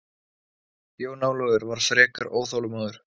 Jón Ólafur var frekar óþolinmóður.